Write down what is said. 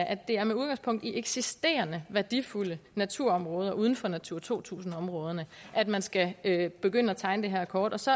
at det er med udgangspunkt i eksisterende værdifulde naturområder uden for natura to tusind områderne at man skal begynde at tegne det her kort og så